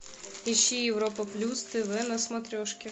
ищи европа плюс тв на смотрешке